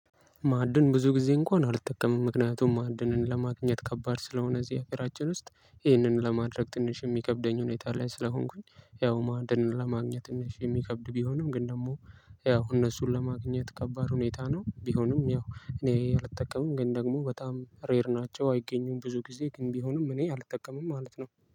ማዕድን ብዙ ጊዜ እንኳን አልጠቀምም ምክንያቱም ማዓድንን ለማግኝት ከባድ ስለሆን እዚህ ሀገራችን ውስጥ ይሄንን ለማድረግ ትንሽ የሚከብደኝ ሁኔታ ላይ ስለሆንኩኝ ያው ማዕድን ለማግኘት ትንሽ የሚከብድ ቢሆንም ግን ደግሞ ያው እነሱን ለማግኘት ከባድ ሁኔታ ነው። ቢሆንም ያው እኔ አልጠቀምም ግን ደግሞ በጣም ሬር ናቸው አይገኙም። ብዙ ጊዜ ግን ቢሆንም እኔ አልጠቀምም ማለት ነው